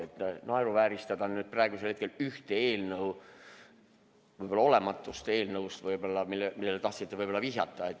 Ei ole mõtet siin praegu naeruvääristada ühte eelnõu, võib-olla olematut eelnõu, millele tahtsite vihjata.